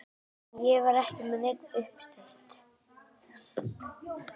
En ég var ekki með neinn uppsteyt.